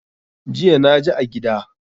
Jiya naji a gida.